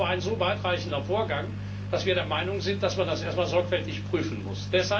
Das ist nun aber ein so weitreichender Vorgang, dass wir der Meinung sind, dass man das erst einmal sorgfältig prüfen muss.